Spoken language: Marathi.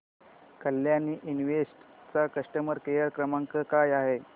कल्याणी इन्वेस्ट चा कस्टमर केअर क्रमांक काय आहे